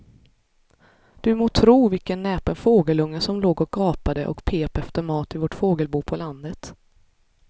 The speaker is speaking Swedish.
Du må tro vilken näpen fågelunge som låg och gapade och pep efter mat i vårt fågelbo på landet.